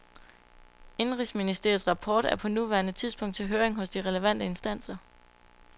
Indenrigsministeriets rapport er på nuværende tidspunkt til høring hos de relevante instanser.